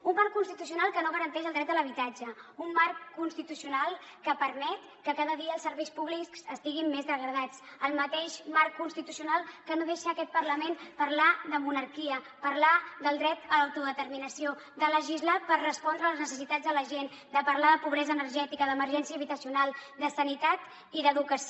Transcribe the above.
un marc constitucional que no garanteix el dret a l’habitatge un marc constitucional que permet que cada dia els serveis públics estiguin més degradats el mateix marc constitucional que no deixa aquest parlament parlar de monarquia parlar del dret a l’autodeterminació de legislar per respondre a les necessitats de la gent de parlar de pobresa energètica d’emergència habitacional de sanitat i d’educació